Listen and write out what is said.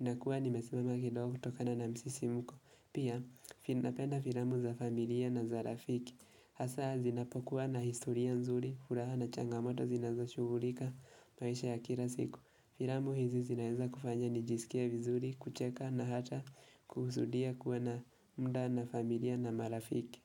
inakuwa nimesimama kidogo kutokana na msisimko. Pia napenda filamu za familia na za rafiki. Hasa zinapokuwa na historia nzuri, furaha na changamoto zinazoshughulika maisha ya kila siku. Filamu hizi zinaweza kufanya nijisikie vizuri, kucheka na hata kuhusudia kuwa na muda na familia na marafiki.